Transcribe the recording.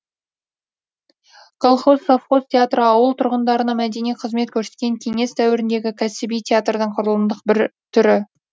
колхоз совхоз театры ауыл тұрғындарына мәдени қызмет көрсеткен кеңес дәуіріндегі кәсіби театрдың құрылымдық бір түрі